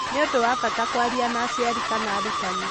Nĩ ũndũ wa bata kwaria na aciari kana arutani.